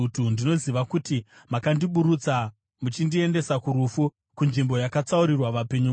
Ndinoziva kuti muchandiburutsa muchindiendesa kurufu, kunzvimbo yakatsaurirwa vapenyu vose.